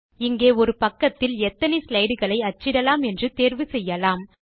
இங்கே ஒரு பக்கத்தில் எத்தனை ஸ்லைடு களை அச்சிடலாம் என்று தேர்வுசெய்யலாம்